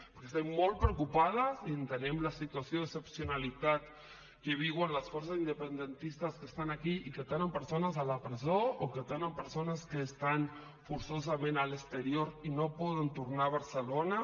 perquè estem molt preocupades i entenem la situació d’excepcionalitat que viuen les forces independentistes que estan aquí i que tenen persones a la presó o que tenen persones que estan forçosament a l’exterior i no poden tornar a barcelona